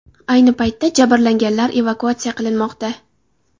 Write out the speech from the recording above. Ayni paytda jabrlanganlar evakuatsiya qilinmoqda.